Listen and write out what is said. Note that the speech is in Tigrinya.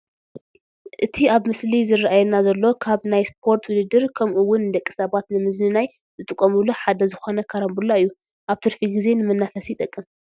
እቲ ኣብቲ ምስሊ ዝራኣየና ዘሎ ካብ ናይ ስፖርት ውድድር ከምኡ ውን ንደቂ ሰባት ንምዝንናይ ዝጥቀምሉ ሓደ ዝኾነ ካራምቡላ እዩ፡፡ ኣብ ትርፊ ጊዜ ንመናፈሲ ይጠቅም፡፡